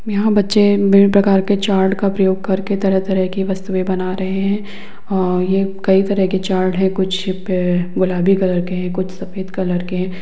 यहाँ बच्चे विभिन्न प्रकार के चार्ट का प्रयोग करके तरह तरह की वस्तुएँ बना रहें हैं और ये कई तरह के चार्ट हैं कुछ अ गुलाबी कलर के हैं कुछ सफ़ेद कलर के हैं।